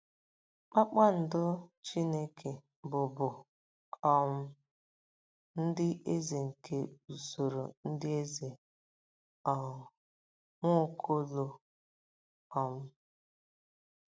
"Kpakpando Chineke" bụ bụ um ndị eze nke usoro ndị eze um Nwaokolo. um